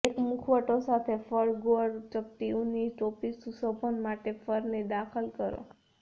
એક મુખવટો સાથે ફર ગોળ ચપટી ઊની ટોપી સુશોભન માટે ફરની દાખલ કરો